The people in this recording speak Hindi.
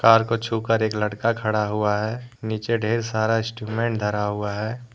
कार को छू कर एक लड़का खड़ा हुआ है नीचे ढेर सारा इंस्ट्रूमेंट धरा हुआ है।